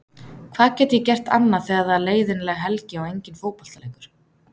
Hvað get ég gert annað þegar það er leiðinleg helgi og engin fótboltaleikur?